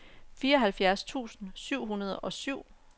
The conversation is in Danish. fireoghalvfjerds tusind syv hundrede og syv